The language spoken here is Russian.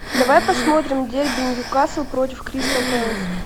давай посмотрим дерби ньюкасл против кристал пэлас